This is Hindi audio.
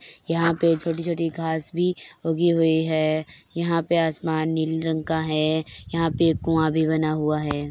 यहाँ पे छोटी-छोटी घांस भी उगी हुई है यहाँ पे आसमान नीले रंग का है यहाँ पे एक कुआँ भी बना हुआ है।